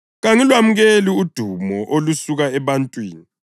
Kangilwamukeli udumo olusuka ebantwini,